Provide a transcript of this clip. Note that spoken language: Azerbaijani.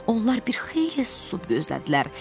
Onlar bir xeyli susub gözlədilər.